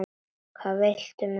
Hvað viltu með þessu?